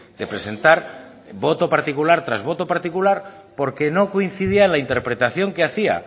de presentar voto particular tras voto particular porque no coincidía en la interpretación que hacía